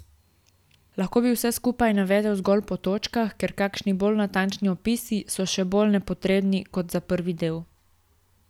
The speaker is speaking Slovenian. Lahko bi vse skupaj navedel zgolj po točkah, ker kakšni bolj natančni opisi so še bolj nepotrebni kot za prvi del.